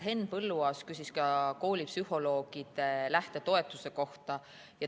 Henn Põlluaas küsis ka koolipsühholoogide lähtetoetuse kohta.